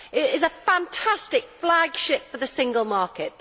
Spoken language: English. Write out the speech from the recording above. It is a fantastic flagship for the single market.